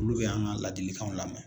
Olu bɛ an ka ladilikanw lamɛn